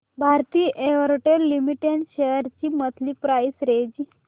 Bharti Airtel limited shares ची monthly price range